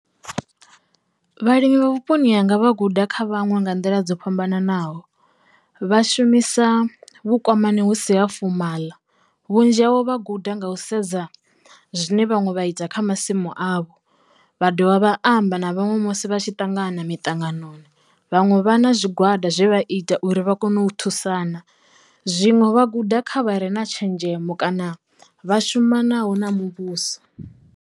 Vhalimi vha vhuponi hanga vha guda kha vhaṅwe nga nḓila dzo fhambananaho vha shumisa vhukwamani husi ha fomaḽa vhunzhi havho vha guda nga u sedza zwine vhaṅwe vha ita kha masimu avho, vha dovha vha amba na vhaṅwe musi vha tshi ṱangana mitanganoni. Vhaṅwe vha na zwigwada zwe vha ita uri vha kone u thusana zwiṅwe vha guda kha vhare na tshenzhemo kana vha shumanaho na muvhuso.